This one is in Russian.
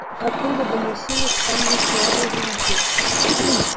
оттуда доносились странные слабые звуки